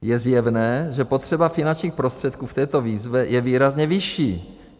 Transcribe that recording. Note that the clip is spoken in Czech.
Je zjevné, že potřeba finančních prostředků v této výzvě je výrazně vyšší.